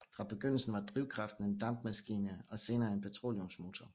Fra begyndelsen var drivkraften en dampmaskine og senere en petroleumsmotor